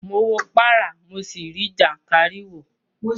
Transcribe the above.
Mo wo párá, mo sì rí jàǹkáríwòọ́.